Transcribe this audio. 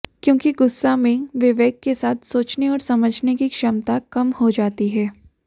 क्योंकि गुस्सा में विवेक के साथ सोचने और समझने की क्षमता कम हो जाती है